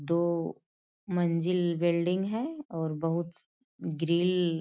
दो मंजिल बिल्डिंग है और बहुत ग्रिल --